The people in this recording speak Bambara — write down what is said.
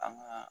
An ka